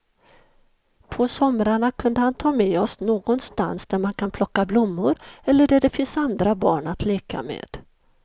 På somrarna kunde han ta med oss någonstans där man kan plocka blommor eller där det finns andra barn att leka med.